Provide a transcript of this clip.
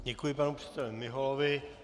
Děkuji panu předsedovi Miholovi.